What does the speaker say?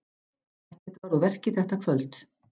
Ekkert varð úr verki þetta kvöld.